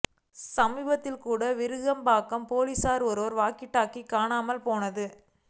சமீபத்தில் கூட விருகம்பாக்கம் போலீஸ்காரர் ஒருவரின் வாக்கிடாக்கி காணாமல் போனது